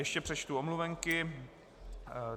Ještě přečtu omluvenky.